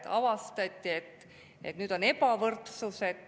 – avastati, et on ebavõrdsus.